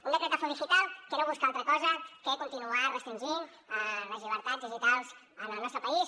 un decretazo digitalaltra cosa que continuar restringint les llibertats digitals en el nostre país